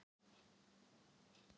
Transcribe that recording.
Þá kom hún.